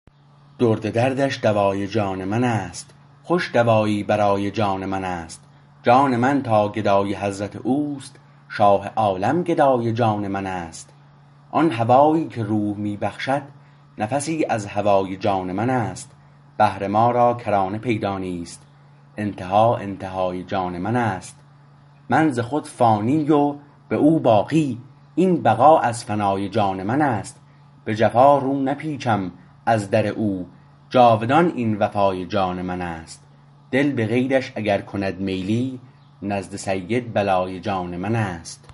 درد دردش دوای جان منست خوش دوایی برای جان منست جان من تاگدای حضرت اوست شاه عالم گدای جان منست آن هوایی که روح می بخشد نفسی از هوای جان منست بحر ما را کرانه پیدا نیست انتها انتهای جان من است من ز خود فانی و به او باقی این بقا از فنای جان منست به جفا رو نپیچم از در او جاودان این وفای جان منست دل به غیرش اگر کند میلی نزد سید بلای جان منست